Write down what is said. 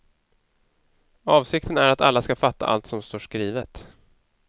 Avsikten är att alla ska fatta allt som står skrivet.